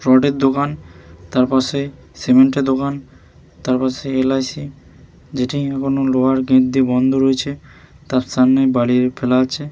রডের দোকান তার পাশে সিমেন্ট -এর দোকান তার পাশে এল. আই. সি. যেটি এখনো লোহার গেট দিয়ে বন্ধ রয়েছে তার সামনেই বালি ফেলা আছে --